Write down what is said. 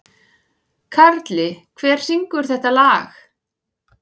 Karli, hver syngur þetta lag?